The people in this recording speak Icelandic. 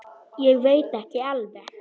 Ég veit ekki alveg.